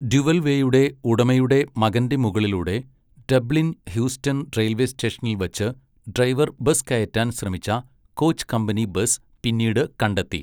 ഡ്യുവൽവേയുടെ ഉടമയുടെ മകന്റെ മുകളിലൂടെ, ഡബ്ലിൻ ഹ്യൂസ്റ്റൺ റെയിൽവേ സ്റ്റേഷനിൽ വച്ച്, ഡ്രൈവർ ബസ് കയറ്റാൻ ശ്രമിച്ച, കോച് കമ്പനി ബസ് പിന്നീട് കണ്ടെത്തി.